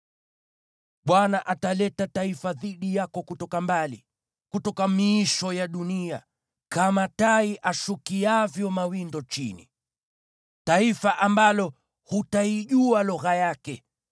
Bwana ataleta taifa dhidi yako kutoka mbali, kutoka miisho ya dunia, kama tai ashukiavyo mawindo chini, taifa ambalo hutaijua lugha yake,